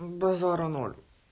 базара ноль